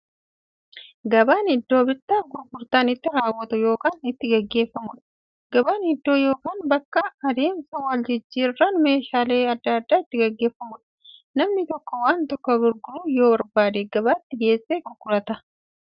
Gabaan iddoo bittaaf gurgurtaan itti raawwatu yookiin itti gaggeeffamuudha. Gabaan iddoo yookiin bakka adeemsa waljijjiiraan meeshaalee adda addaa itti gaggeeffamuudha. Namni tokko waan tokko gurguruu yoo barbaade, gabaatti geessee gurgurata.